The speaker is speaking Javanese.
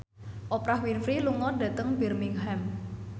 Oprah Winfrey lunga dhateng Birmingham